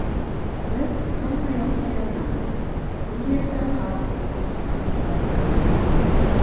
Biz hammayoqqa yozamiz, bu yerda xalq sassiq hiddan qiynaladi.